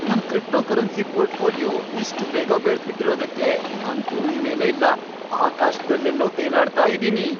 ನನ್ cryptocurrency portfolio ಇಷ್ಟ್ ಬೇಗ ಬೆಳ್ದ್ಬಿಟಿರೋದ್ಕೆ ನಾನ್ ಭೂಮಿ ಮೇಲೇ ಇಲ್ಲ, ಆಕಾಶ್ದಲ್ಲೆಲ್ಲೋ ತೇಲಾಡ್ತಾ ಇದೀನಿ.